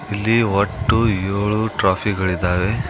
ಇಲ್ಲಿ ಒಟ್ಟು ಯೋಳು ಟ್ರೋಫಿ ಗಳಿದಾವೆ.